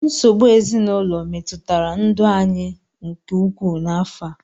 Nsogbu ezinụlọ metụtara ndụ anyị nke ukwuu n'afọ a.